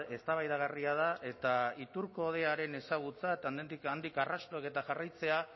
eztabaidagarria da eta iturko hodeiaren ezagutza eta handik arrastoak eta jarraitzea